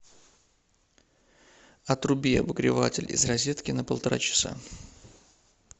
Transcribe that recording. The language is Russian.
отруби обогреватель из розетки на полтора часа